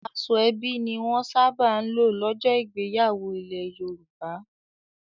Aṣọ ẹbí ni wọ́n sábà ń lò lọ́jọ́ ìgbéyàwó ilẹ̀ Yorùbá.